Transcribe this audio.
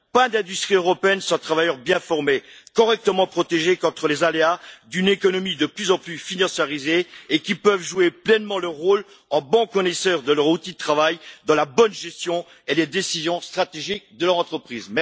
Il ne peut y avoir d'industrie européenne sans travailleurs bien formés, correctement protégés contre les aléas d'une économie de plus en plus financiarisée et en mesure de jouer pleinement leur rôle, en bons connaisseurs de leur outils de travail, dans la bonne gestion et les décisions stratégiques de leur entreprise.